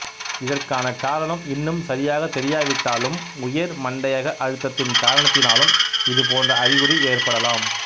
இதற்கான காரணம் இன்னும் சரியாக தெரியாவிட்டாலும் உயர் மண்டையக அழுத்தத்தின் காரணத்தினாலும் இது போன்ற அறிகுறி ஏற்படலாம்